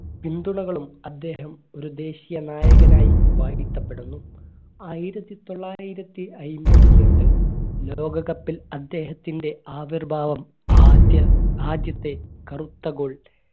പിന്തുണകളും അദ്ദേഹം ഒരു ദേശീയ നായകനായി വാഴ്ത്തപ്പെടുന്നു ആയിരത്തിത്തൊള്ളായിരത്തി അയ്ബത്തിഎട്ട് ലോക cup ൽ അദ്ദേഹത്തിൻറെ ആദ്യ ആദ്യത്തെ കറുത്ത goal